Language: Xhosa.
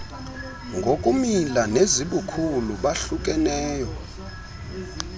ngokumila nezibukhulu bahlukeneyo